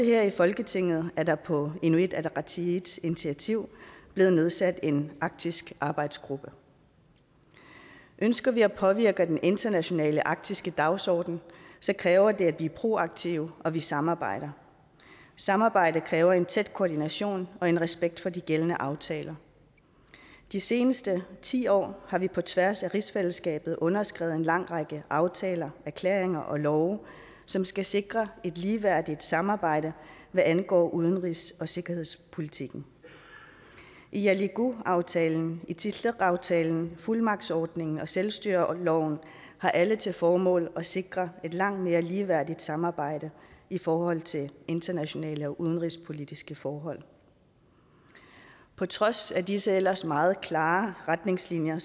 her i folketinget er der på inuit ataqatigiits initiativ blevet nedsat en arktisk arbejdsgruppe ønsker vi at påvirke den internationale arktiske dagsorden kræver det at vi er proaktive og at vi samarbejder samarbejde kræver en tæt koordination og en respekt for de gældende aftaler de seneste ti år har vi på tværs af rigsfællesskabet underskrevet en lang række aftaler erklæringer og love som skal sikre et ligeværdigt samarbejde hvad angår udenrigs og sikkerhedspolitikken igalikuaftalen itilleqaftalen fuldmagtsordningen og selvstyreloven har alle til formål at sikre et langt mere ligeværdigt samarbejde i forhold til internationale og udenrigspolitiske forhold på trods af disse ellers meget klare retningslinjer